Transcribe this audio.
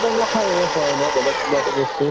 ব্য়ৱসায়ে হয় ন বেলেগ কিবা এটা বস্তু